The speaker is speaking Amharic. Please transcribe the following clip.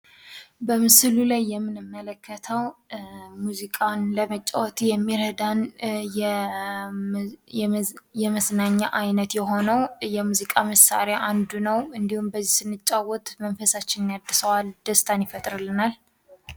በምስሉ ላይ የምንመለከተዉ ሙዚቃን ለመጫወት የሚረዳን የመዝናኛ አይነት የሆነዉ የሚዚቃ መሳሪያ አንዱ ነዉ። እንዲሁም በዚህ ስንጫወት መንፈሳችንን ያድሰዋል ደስታን ይፈጥርልናል።